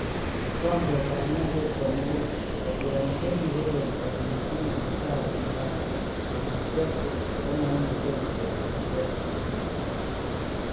Kigombet ap ngwondet komugul: Kotiorindet negorom kot missing alavaro Morata koyap chelsea komoimuche kourerencji Chelsea.